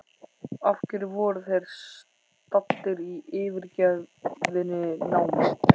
Af hverju voru þeir staddir í yfirgefinni námu?